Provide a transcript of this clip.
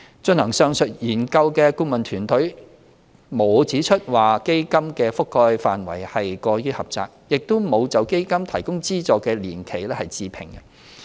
進行上述研究的顧問團隊並沒有指出基金的覆蓋範圍過於狹窄，亦沒有就基金提供資助的年期置評。